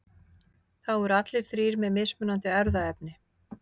þá eru allir þrír með mismunandi erfðaefni